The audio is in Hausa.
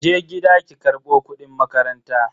Je gida ki karbo kudin makaranta.